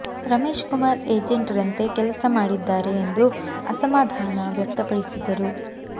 Ramesh Kumar agent ರಂತೆ ಕೆಲಸ ಮಾಡಿದ್ದಾರೆ ಎಂದು ಅಸಮಾಧಾನ ವ್ಯಕ್ತಪಡಿಸಿದರು